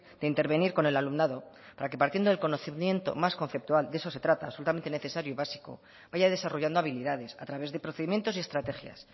de intervenir con el alumnado para que partiendo del conocimiento más conceptual de eso se trata absolutamente necesario y básico vaya desarrollando habilidades a través de procedimientos y estrategias